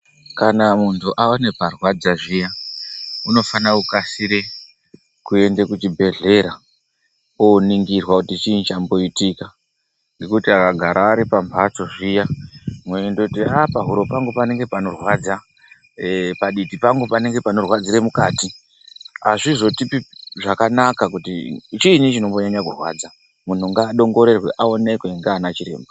Kana muntu ane parwadza zviya unofana kukasire kuende kuchibhehlera oningirwa kuti chinyi chamboitika ngekuti akagara ari pamhatso zviya weindoti ahh pahuro pangu panenge panorwadza , paditi pangu paunenge panorwadzire mukati azvizotipi zvakanaka kuti chinyi chinombonyanha kurwadza. Munhu ngaoneke adongorerwe ndiana chiremba.